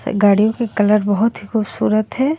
गाड़ियों के कलर बहुत ही खूबसूरत हैं.